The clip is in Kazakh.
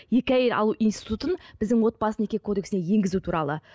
екі әйел алу институтын біздің отбасы неке кодексіне енгізу туралы